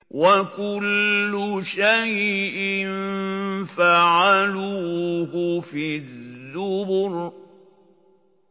وَكُلُّ شَيْءٍ فَعَلُوهُ فِي الزُّبُرِ